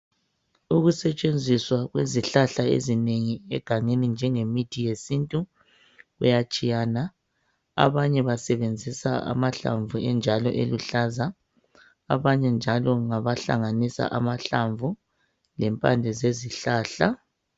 Ukusetshenziswa kwezihlahla ezinengi egangeni njengemithi yesintu kuyatshiyana .Abanye basebenzisa amahlamvu enjalo eluhlaza abanye njalo ngabahlanganisa amahlamvu lempande zezihlahla.